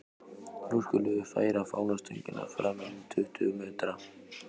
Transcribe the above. Nú skulum við færa fánastöngina fram um tuttugu metra.